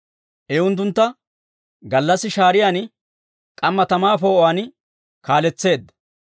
I unttuntta gallassi shaariyaan, k'amma tamaa poo'uwaan kaaletseedda.